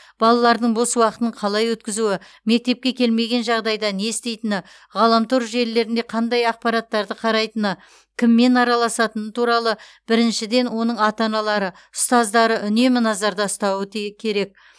балалардың бос уақытын қалай өткізуі мектепке келмеген жағдайда не істейтіні ғаламтор желілерінде қандай ақпараттарды қарайтыны кіммен араласатыны туралы біріншіден оның ата аналары ұстаздары үнемі назарда ұстауы ти керек